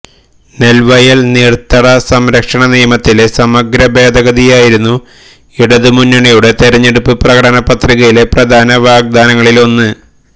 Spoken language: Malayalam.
നെല്വയല് നീര്ത്തട സംരക്ഷണ നിയമത്തിലെ സമഗ്ര ഭേദഗതിയായിരുന്നു ഇടതുമുന്നണിയുടെ തെരഞ്ഞെടുപ്പ് പ്രകടന പത്രികയിലെ പ്രധാന വാഗ്ദാനങ്ങളിലൊന്ന്